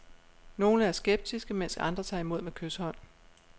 Nogle er skeptiske, mens andre tager imod med kyshånd.